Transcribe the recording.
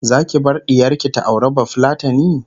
Zaki bar ɗiyarki ta auri bafulatani?